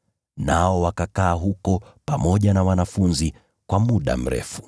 Nao wakakaa huko pamoja na wanafunzi kwa muda mrefu.